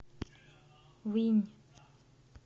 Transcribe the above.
винь